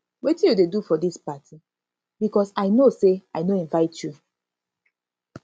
wetin you dey do for dis party because i no no say i no invite you